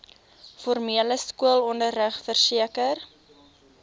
formele skoolonderrig verseker